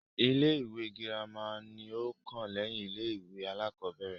Ilé-ìwé girima ni ó kàn lẹ́yìn ilé-ìwé aláàkọ́bẹ̀rẹ̀.